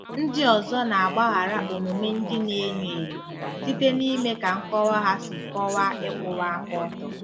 Ndị ọzọ na-agbaghara omume ndị na-enyo enyo site n'ime ka nkọwa ha si kọwaa ịkwụwa aka ọtọ.